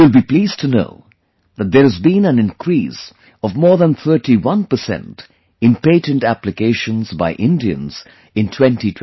You will be pleased to know that there has been an increase of more than 31 percent in patent applications by Indians in 2022